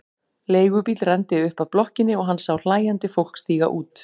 Leigubíll renndi upp að blokkinni og hann sá hlæjandi fólk stíga út.